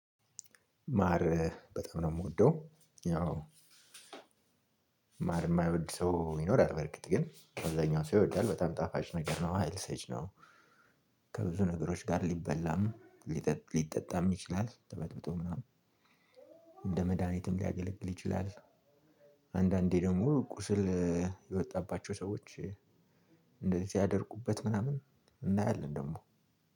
ማር በጣም ነው የምወደው ያው ማር የማይወድ ሰው ይኖራል በእርግጥ ግን አብዛኛው ሰው ይወዳል በጣም ጣፋጭ ነገር ነው ሀይል ሰጪ ነው። ከብዙ ነገሮች ጋር ሊበላም ሊጠ ሊጠጣም ይችላል ተበጥብጦ ምናምን እንደ መድሃኒትም ሊያገለግል ይችላል። አንዳንዴ ደግሞ ቁስል የወጣባቸው ሰዎች እንደዚህ ሲያደርጉበት ምናምን እናያለን። ደግሞ